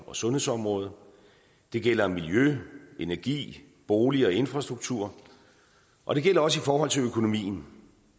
og sundhedsområdet det gælder miljø energi bolig og infrastruktur og det gælder også i forhold til økonomien